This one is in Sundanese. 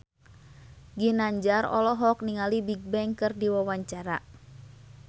Ginanjar olohok ningali Bigbang keur diwawancara